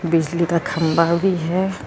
ਬਿਜਲੀ ਦਾ ਖੰਭਾ ਵੀ ਹੈ।